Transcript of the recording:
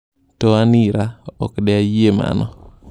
To an ira, okde ayie mano."